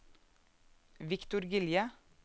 Viktor Gilje